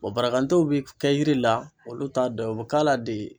barakantew bi kɛ yiri la olu t'a dɔ ye u bi k'a la de.